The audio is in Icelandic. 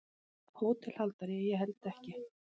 HÓTELHALDARI: Ég held ekki.